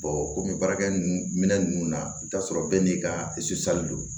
kɔmi baarakɛ minɛ ninnu na i bɛ taa sɔrɔ bɛɛ n'i ka don